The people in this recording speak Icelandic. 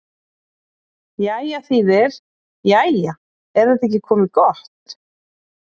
Jæja þýðir: Jæja, er þetta ekki komið gott?